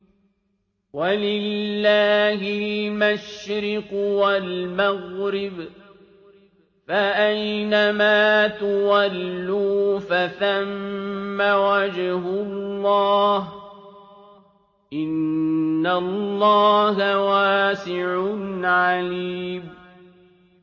وَلِلَّهِ الْمَشْرِقُ وَالْمَغْرِبُ ۚ فَأَيْنَمَا تُوَلُّوا فَثَمَّ وَجْهُ اللَّهِ ۚ إِنَّ اللَّهَ وَاسِعٌ عَلِيمٌ